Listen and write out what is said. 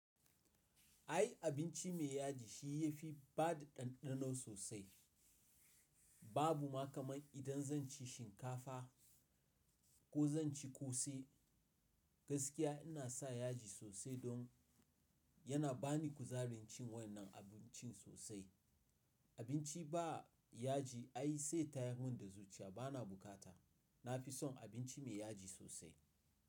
Ai abinci mai yaji shi yafi badu ɗanɗano sosai. Babu ma kamar idan zan ci shinkafa ko zan ci ƙose gaskiya ina sa yaji sosai don yana bani kuzarin cin wannan abincin sosai. Abinci ba yaji ai sai tayi min da zuciya bana bukata. Na fi son abinci mai yaji sosai.